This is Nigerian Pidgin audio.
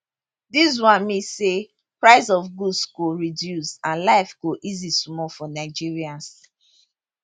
dis one mean say price of goods go reduce and life go easy small for nigerians